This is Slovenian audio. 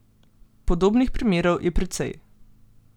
Podobnih primerov je precej.